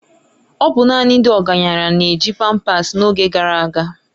Ọ bụ naanị ndị ọgaranya na-eji pampasi n'oge gara aga.